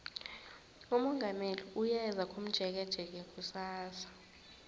umongameli uyeza komjekejeke kusasa